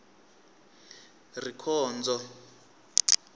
rikhondzo